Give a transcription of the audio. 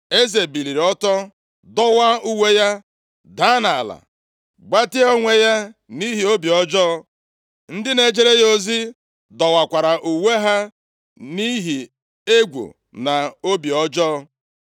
Eze biliri ọtọ, dọwaa uwe ya, daa nʼala, gbatịa onwe ya nʼihi obi ọjọọ. Ndị na-ejere ya ozi dọwakwara uwe ha nʼihi egwu na obi ọjọọ.